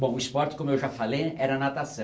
Bom, o esporte, como eu já falei né, era natação.